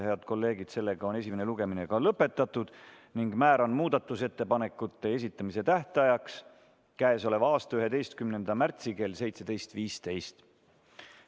Head kolleegid, esimene lugemine on lõpetatud ning määran muudatusettepanekute esitamise tähtajaks k.a 11. märtsi kell 17.15.